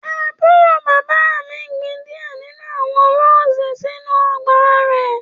Àbúrò bàbá mi gbin diẹ ninu awọn Roses sinu ọgba rẹ